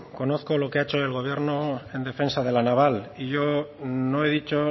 conozco lo que ha hecho el gobierno en defensa de la naval y yo no he dicho